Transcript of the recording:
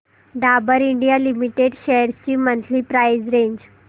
Dabur India limited shares ची monthly price range